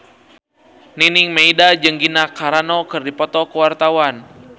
Nining Meida jeung Gina Carano keur dipoto ku wartawan